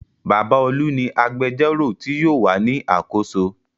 Bàbá Olú ni agbẹjọ́rò tí yóò wà ní àkóso.